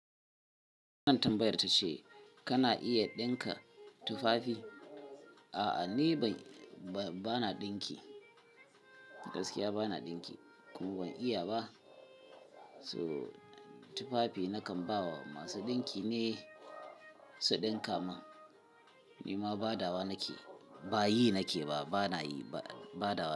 Kuna tambayar tace kana iya dinka tufafi? A'a ni bana dinki, gaskiya bana dinki kuma ban iya ba. So tufafi nakan ba wa masu dinki ne su dinka mun. Ni ma badawa nake, ba yi nake ba, bana yi ba badawa nake.